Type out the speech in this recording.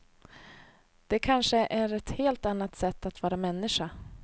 Det kanske är ett helt annat sätt att vara människa.